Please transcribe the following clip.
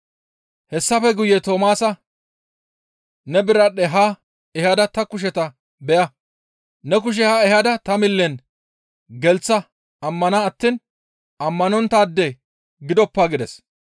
Hessafe guye Toomaasa, «Ne biradhdhe haa ehada ta kusheta beya. Ne kushe haa ehada ta millen gelththa ammana attiin ammanonttaade gidoppa» gides.